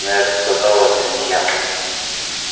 но я же сказал это не я